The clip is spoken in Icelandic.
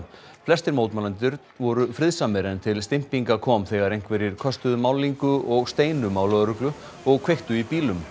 flestir mótmælendur voru friðsamir en til kom þegar einhverjir köstuðu málningu og steinum á lögreglu og kveiktu í bílum